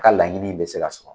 A ka laɲini in bɛ se ka sɔrɔ